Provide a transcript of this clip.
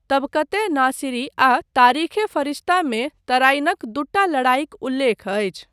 तबक़त ए नासिरी आ तारिख़ ए फ़रिश्ता मे तराइनक दूटा लड़ाइक उल्लेख अछि।